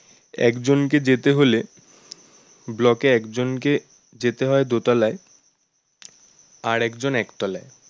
একজনকে যেতে হলে block এ একজনকে যেতে হয় দোতলায় আর একজন এক তলায়